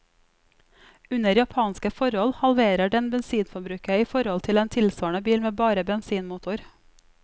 Under japanske forhold halverer den bensinforbruket i forhold til en tilsvarende bil med bare bensinmotor.